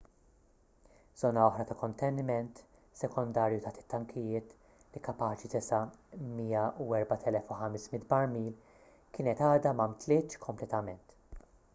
żona oħra ta' konteniment sekondarju taħt it-tankijiet li kapaċi tesa' 104,500 barmil kienet għadha ma mtlietx kompletament